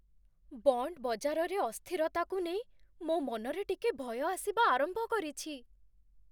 Bond ବଜାରରେ ଅସ୍ଥିରତାକୁ ନେଇ ମୋ' ମନରେ ଟିକେ ଭୟ ଆସିବା ଆରମ୍ଭ କରିଛି।